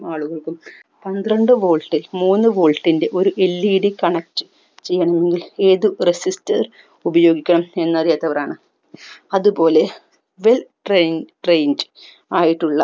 ആളുകൾക്കും പന്ത്രണ്ട് volt ൽ മൂന്ന് volt ൻ്റെ ഒരു LED connect ചെയ്യണമെങ്കിൽ ഏത് resistors ഉപയോഗിക്കണം എന്നറിയാത്തവരാണ് അതുപോലെ well train trained ആയിട്ടുള്ള